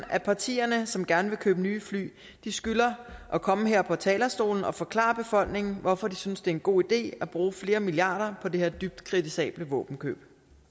at partierne som gerne vil købe nye fly skylder at komme her på talerstolen og forklare befolkningen hvorfor de synes det er en god idé at bruge flere milliarder på det her dybt kritisable våbenkøb